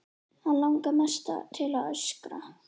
Hann langar mest til að öskra.